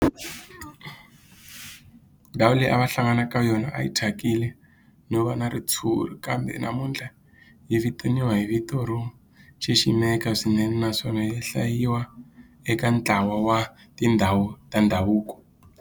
Ndhawu leyi a va hlangana ka yona a yi thyakile no va na ritshuri kambe namuntlha yi vitaniwa hi vito ro xiximeka swinene naswona yi hlayiwa eka ntlawa wa tindhawu ta ndhavuko.